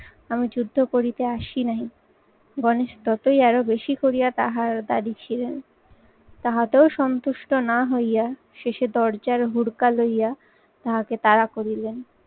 আমি যুদ্ধ করিতে আসি নাই। গণেশ ততই আরো বেশি করিয়া তাহার দাঁড়ি ছিঁড়েন। তাহাতেও সন্তুষ্ট না হইয়া শেষে দরজার হুরকা লইয়া তাহাকে তারা করিলেন।